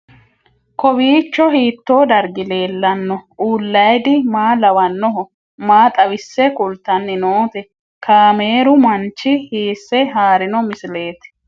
Kowiicho hiito dargi leellanni no ? ulayidi maa lawannoho ? maa xawisse kultanni noote ? kaameru manchi hiisse haarino misileeti?